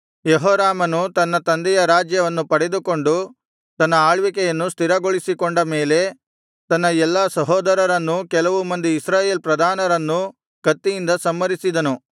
ಯೆಹೋರಾಮನು ತನ್ನ ತಂದೆಯ ರಾಜ್ಯವನ್ನು ಪಡೆದುಕೊಂಡು ತನ್ನ ಆಳ್ವಿಕೆಯನ್ನು ಸ್ಥಿರಗೊಳಿಸಿಕೊಂಡ ಮೇಲೆ ತನ್ನ ಎಲ್ಲಾ ಸಹೋದರರನ್ನೂ ಕೆಲವು ಮಂದಿ ಇಸ್ರಾಯೇಲ್ ಪ್ರಧಾನರನ್ನೂ ಕತ್ತಿಯಿಂದ ಸಂಹರಿಸಿದನು